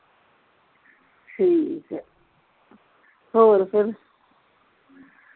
ਠੀਕ ਆ ਹੋਰ ਫਿਰ